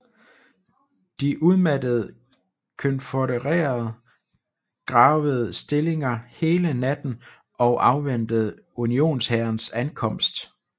De udmattede konfødererede gravede stillinger hele natten og afventede unionshærens ankomst